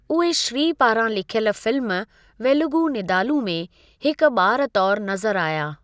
उहे श्री पारां लिखियलु फिल्म वेलुगु नीदालु में हिकु बा॒रु तौरु नज़रु आया ।